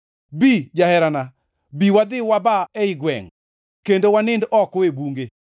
Bi, jaherana, bi wadhi waba ei gwengʼ, kendo wanind oko e bunge.